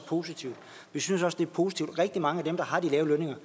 positivt vi synes også det er positivt at rigtig mange af dem der har de lave lønninger